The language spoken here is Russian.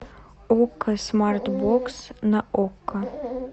окко смарт бокс на окко